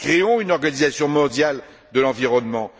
Créons une organisation mondiale de l'environnement!